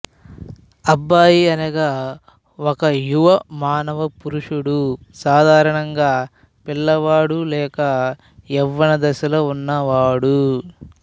అబ్బాయి అనగా ఒక యువ మానవ పురుషుడు సాధారణంగా పిల్లవాడు లేక యవ్వన దశలో ఉన్నవాడు